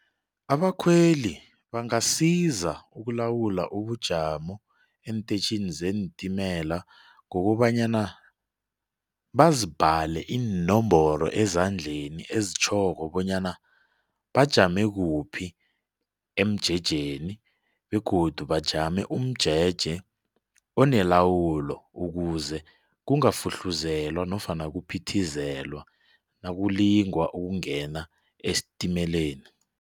Abakhweli bangasiza ukulawula ubujamo eentetjhini zeentimela ngokobanyana bazibhale iinomboro ezandleni ezitjhoko bonyana bajame kuphi emjejeni begodu bajame umjeje onelawulo ukuze kungafuhluzelwa nofana kuphithizelwa nakulingwa ukungena esitimeleni.